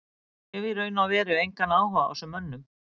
Ég hef í raun og veru engan áhuga á þessum mönnum.